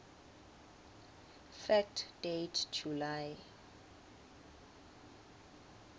fact date july